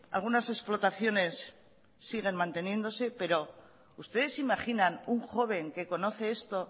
algunas explotaciones síguen manteniéndose pero ustedes se imaginan un joven que conoce esto